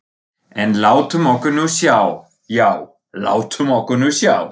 En látum okkur nú sjá, já, látum okkur nú sjá.